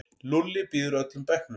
Lúlli býður öllum bekknum.